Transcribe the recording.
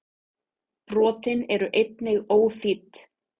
Brotin eru einnig óþýdd.